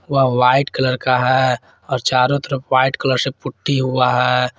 वह white colour का है और चारों तरफ व्हाइट कलर से पुट्टी हुआ है।